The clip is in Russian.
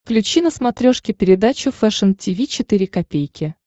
включи на смотрешке передачу фэшн ти ви четыре ка